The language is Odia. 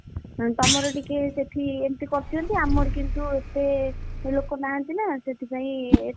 ହୁଁ ତମର ଟିକେ ସେଠି ଏମିତି କରିଛନ୍ତି ଆମର କିନ୍ତୁ ଏତେ ଲୋକ ନାହାନ୍ତି ନା ସେଥିପାଇଁ,